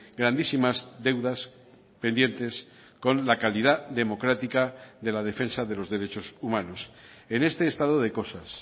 grandísimas deudas pendientes con la calidad democrática de la defensa de los derechos humanos en este estado de cosas